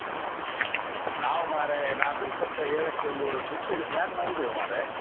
ನಾವ್ ಮಾರ್ರೆ ನಾಡ್ದು ಇಪ್ಪತ್ತ ಏಳಕ್ಕೆ ಒಂದು trip ಗೆ plan ಮಾಡಿದೇವು ಮಾರ್ರೆ.